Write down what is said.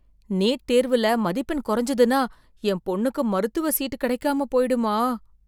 NEET தேர்வுல மதிப்பெண் குறைஞ்சதுனா என் பொண்ணுக்கு மருத்துவம் சீட் கிடைக்காம போயிடுமா.